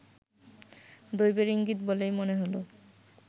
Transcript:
দৈবের ইঙ্গিত বলেই মনে হলো